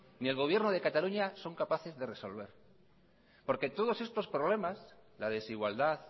ni el gobierno de cataluña son capaces de resolver porque todos estos problemas la desigualdad